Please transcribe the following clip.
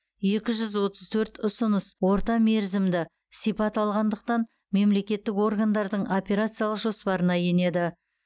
екі жүз отыз төрт ұсыныс ортамерзімді сипат алғандықтан мемлекеттік органдардың операциялық жоспарына енеді